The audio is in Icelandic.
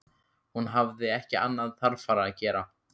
Hún hafði ekki annað þarfara að gera.